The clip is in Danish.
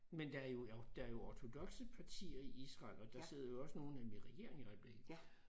Men der er jo er jo der jo ortodokse partier i Israel og der sidder jo også nogle af dem i regeringen i øjeblikket